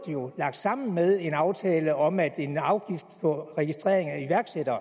lagt sammen med en aftale om at en afgift på registrering af iværksættere